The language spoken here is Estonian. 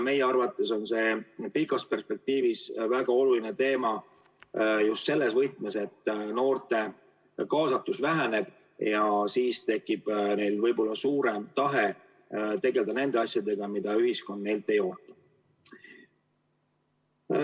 Meie arvates on see pikas perspektiivis väga oluline teema just selles võtmes, et noorte kaasatus väheneb ja siis tekib neil võib olla suurem tahe tegelda nende asjadega, millega tegelemist ühiskond neilt ei oota.